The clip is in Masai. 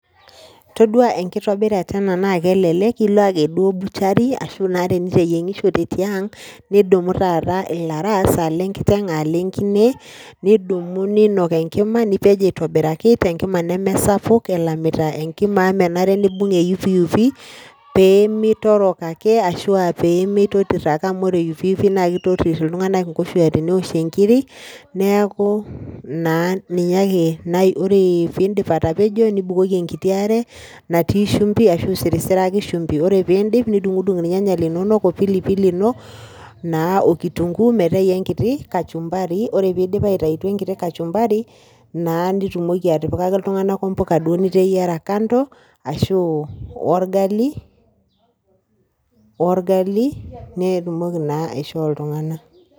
Todua enkitobirata ele naa kelelek ila ake duo butchery ashu naa teniteyiengishote tiang , nidumu naa ilaras aa ile nkiteng , aa ile nkine , nidumu ninok enkima , nipej aitobiraki te enkima sapuku , elamita enkima amu menare nibung eyupiyupi pemitorok ake ashu pemitotir ake amu ore eyupiyupi naa kitotir iltunganak inkoshuaak teneoshie inkir, neaku naa ninye ake , ore piidip atapejo , nibukoki enkiti are natii shumbi ashu isirsiraki shumbi . Ore piindip nidungdung irnyanya linonok ashu pilipili ino naa okitunguu mitau enkiti kachumbari . Ore pidip aitayu enkiti kachumbari naa nitumoki atipikaki iltunganak ompuka duo niteyiera kando ashu orgali , nitumoki naa aishoo iltunganak.